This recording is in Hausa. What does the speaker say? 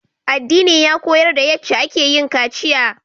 Addina ya koyar da yace akeyin kaciya